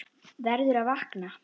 Verður að vakna.